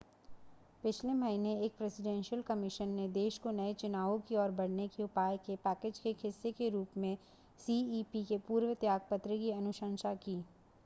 पिछले महीने एक प्रेसिडेंशियल कमीशन ने देश को नए चुनावों की ओर बढ़ने के उपाय के पैकेज के एक हिस्से के रूप में सीईपी के पूर्व त्यागपत्र की अनुशंसा की